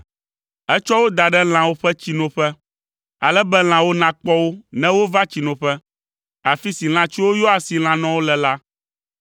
Etsɔ wo da ɖe lãwo ƒe tsinoƒe, ale be lãwo nakpɔ wo ne wova tsinoƒe, afi si lãtsuwo yɔa asi lãnɔwo le la.